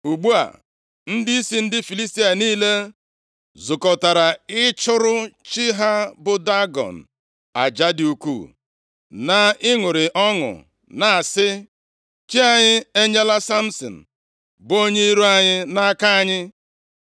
Ugbu a, ndịisi ndị Filistia niile zukọtara ịchụrụ chi ha bụ Dagọn, + 16:23 Dagọn bụ chi ahịhịa ndụ nye ndị Filistia. Ogidi oyiyi ya bụ ọkara mmadụ na ọkara azụ. Nʼasụsụ ndị Hibru, Dagọn pụtara mkpụrụ ọka, ebe mkpụrụ okwu a Dag pụtara azụ. aja dị ukwuu, na ịṅụrị ọṅụ, na-asị, “Chi anyị enyela Samsin bụ onye iro anyị nʼaka anyị.”